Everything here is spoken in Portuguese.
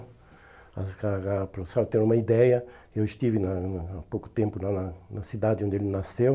Para vocês terem uma ideia, eu estive na na há pouco tempo lá na na cidade onde ele nasceu.